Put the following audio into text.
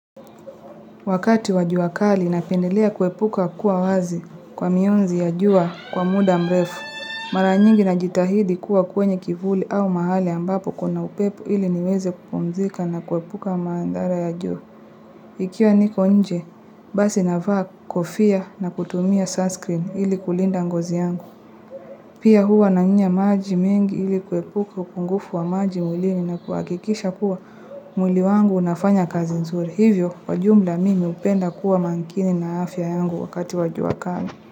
Wakati wa jua kali napendelea kuepuka kuwa wazi kwa mionzi ya jua kwa muda mrefu. Mara nyingi najitahidi kuwa kwenye kivuli au mahali ambapo kuna upepo ili niweze kupumzika na kuepuka madhara ya jua. Ikiwa niko nje, basi navaa kofia na kutumia sunscreen ili kulinda ngozi yangu. Pia huwa nanywa maji mengi ili kuepuka upungufu wa maji mwlini na kuhakikisha kuwa mwili wangu unafanya kazi nzuri. Hivyo, kwa jumla mimi hupenda kuwa makini na afya yangu wakati wa jua kali.